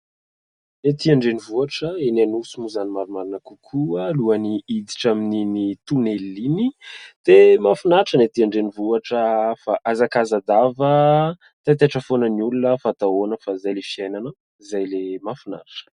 Ny ety andrenivohitra ; eny anosy moa izany ny marimarina kokoa ; alohan'ny hiditra amin'iny tonelina iny dia mahafinaritra ny ety andrenivohitra fa hazakaza-dava, taitaitra foana ny olona fa atao ahoana fa izay ilay fiainana ; izay ilay mahafinaritra !